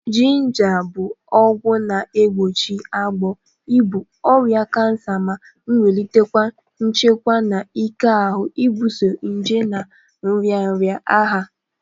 Jịnja bụ oke ọgwọ na-egbochi agbọ, ibụ, ọrịa kansa ma nwulitekwa nchekwa na ike ahụ ibuso nje na nrịanrịa agha